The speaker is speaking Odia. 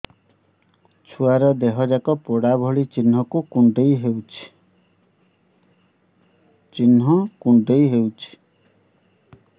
ଛୁଆର ଦିହ ଯାକ ପୋଡା ଭଳି ଚି଼ହ୍ନ କୁଣ୍ଡେଇ ହଉଛି